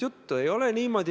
Ja seda ma olen teinud.